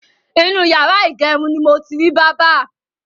Inú yàrá ìgẹrun ni mo ti rí bábà.